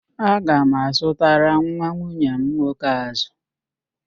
Aga m azụtara nwa nwunye m nwoke ázụ̀